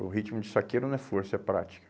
O ritmo de saqueiro não é força, é prática.